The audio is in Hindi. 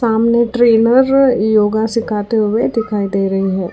आमने ट्रेनर योगा सिखाते हुए दिखाई दे रही हैं।